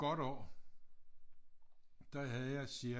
Godt år der havde jeg cirka